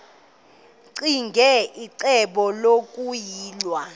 ccinge icebo lokuyilwa